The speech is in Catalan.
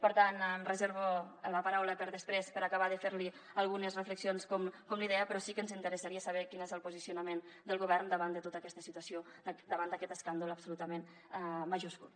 per tant em reservo la paraula per a després per acabar de fer li algunes reflexions com li deia però sí que ens interessaria saber quin és el posicionament del govern davant de tota aquesta situació davant d’aquest escàndol absolutament majúscul